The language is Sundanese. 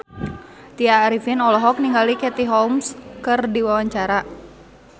Tya Arifin olohok ningali Katie Holmes keur diwawancara